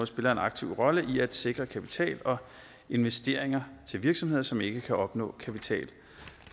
spiller en aktiv rolle i at sikre kapital og investeringer til virksomheder som ikke kan opnå kapital